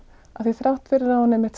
af því að þrátt fyrir að hún